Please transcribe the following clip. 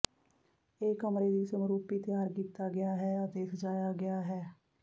ਇਹ ਕਮਰੇ ਦੀ ਸਮਰੂਪੀ ਤਿਆਰ ਕੀਤਾ ਗਿਆ ਹੈ ਅਤੇ ਸਜਾਇਆ ਗਿਆ ਹੈ